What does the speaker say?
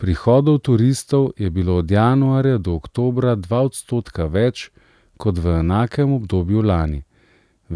Prihodov turistov je bilo od januarja do oktobra dva odstotka več kot v enakem obdobju lani,